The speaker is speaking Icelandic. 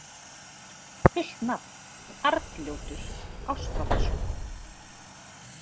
Fullt nafn: Arnljótur Ástvaldsson.